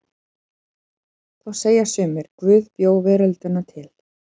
Þá segja sumir: Guð bjó veröldina til.